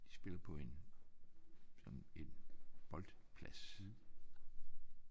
De spiller på en sådan en boldplads